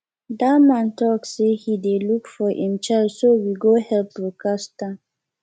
dat man talk say he dey look for im child so we go help broadcast am